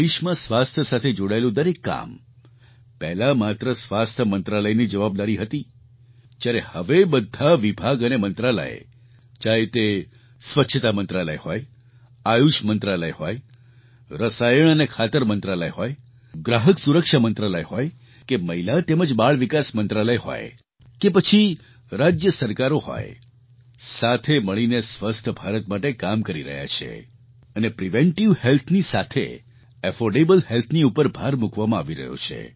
દેશમાં સ્વાસ્થ્ય સાથે જોડાયેલું દરેક કામ પહેલાં માત્ર સ્વાસ્થ્ય મંત્રાલયની જવાબદારી હતી જયારે હવે બધાં વિભાગ અને મંત્રાલય ચાહે તે સ્વચ્છતા મંત્રાલય હોય આયુષ મંત્રાલય હોય રસાયણ અને ખાતર મંત્રાલય હોય ગ્રાહક સુરક્ષા મંત્રાલય હોય કે મહિલા તેમજ બાળ વિકાસ મંત્રાલય હોય કે પછી રાજ્ય સરકારો હોય સાથે મળીને સ્વસ્થ ભારત માટે કામ કરી રહ્યાં છે અને પ્રિવેન્ટિવ Healthની સાથે એફોર્ડેબલ healthની ઉપર ભાર મૂકવામાં આવી રહ્યો છે